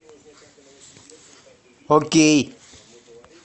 окей